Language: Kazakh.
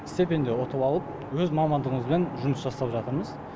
стипендия ұтып алып өз мамандығымызбен жұмыс жасап жатырмыз